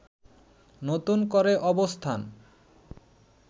নতুন করে অবস্থান